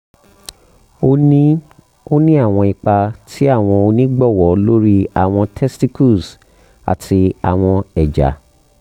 o ni o ni awọn ipa ti awọn onigbọwọ lori awọn testicles ati awọn eja